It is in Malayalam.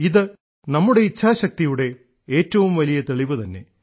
ഇത് നമ്മുടെ ഇച്ഛാശക്തിയുടെ ഏറ്റവും വലിയ തെളിവുതന്നെ